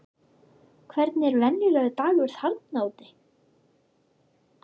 Hvernig er venjulegur dagur þarna úti?